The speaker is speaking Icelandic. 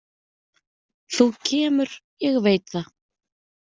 Þú kemur, ég veit það.